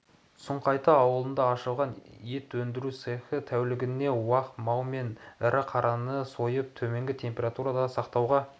сұңқайты ауылында ашылған ет өндіру цехі тәулігіне уақ мал мен ірі қараны сойып төмен температурада сақтауға